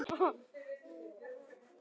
Já það má segja það.